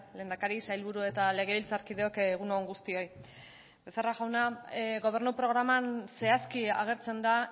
lehendakari sailburu eta legebiltzarkideok egun on guztioi becerra jauna gobernu programan zehazki agertzen da